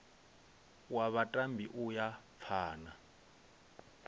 wa vhatambi u ya phana